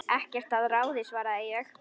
Ekkert að ráði svaraði ég.